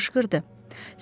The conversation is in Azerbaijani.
Ovçu qışqırdı.